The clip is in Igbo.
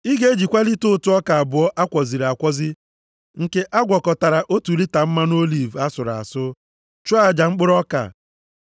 Ị ga-ejikwa lita ụtụ ọka abụọ a kwọziri akwọzi nke a gwọkọtara nʼotu lita mmanụ oliv asụrụ asụ, chụọ aja mkpụrụ ọka.